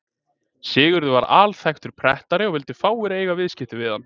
Sigurður var alþekktur prettari og vildu fáir eiga viðskipti við hann.